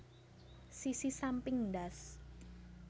Sisi samping ndas